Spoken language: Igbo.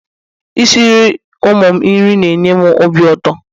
Isiri ụmụ m nri na-enye m ọbi ụtọ